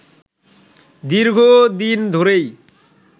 দীর্ঘদিন ধরেই